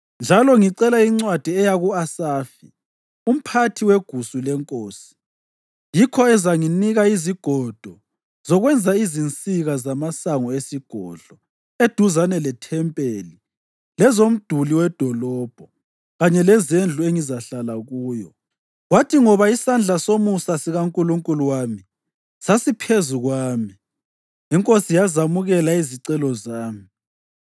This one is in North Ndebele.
Njalo ngicela incwadi eya ku-Asafi, umphathi wegusu lenkosi, yikho ezanginika izigodo zokwenza izinsika zamasango esigodlo eduzane lethempeli lezomduli wedolobho kanye lezendlu engizahlala kuyo.” Kwathi ngoba isandla somusa sikaNkulunkulu wami sasiphezu kwami, inkosi yazamukela izicelo zami.